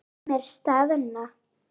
Sumir staðna.